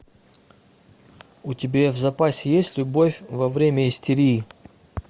у тебя в запасе есть любовь во время истерии